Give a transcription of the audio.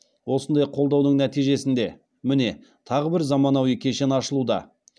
осындай қолдаудың нәтижесінде міне тағы бір заманауи кешен ашылуда